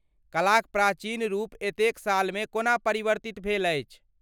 कलाक प्राचीन रूप एतेक सालमे कोना परिवर्तित भेल अछि?